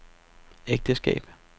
ægteskab